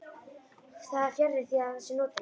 Og það er fjarri því að það sé notalegt.